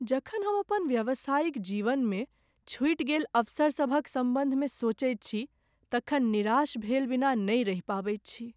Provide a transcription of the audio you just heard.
जखन हम अपन व्यावसायिक जीवनमे छुटि गेल अवसरसभक सम्बन्धमे सोचैत छी तखन निराश भेल बिना नहि रहि पबैत छी।